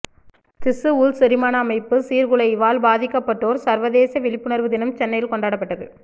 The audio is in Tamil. திசு உள் செரிமான அமைப்பு சீர்குலைவால் பாதிக்கப்பட்டோர் சர்வதேச விழிப்புணர்வு தினம் சென்னையில் கொண்டாடப்பட்டது